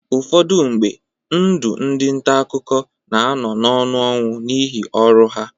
Ụfọdụ mgbe, ndụ ndị nta akụkọ na-anọ n'ọnụ ọnwụ n'ihi ọrụ ha.